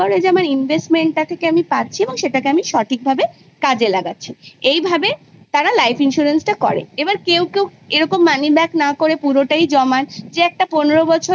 আমার investment থেকে আমি পাচ্ছি আর সঠিক ভাবে কাজে লাগাচ্ছি এভাবে তারা life insurance টা করে আবার কেউ কেউ এরকম money back না করে পুরোটাই জমান